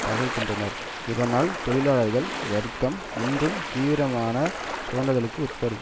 தகர்க்கின்றனர் இதனால் தொழிலாளர் வர்க்கம் இன்னும் தீவிரமான சுரண்டலுக்கு உட்படும்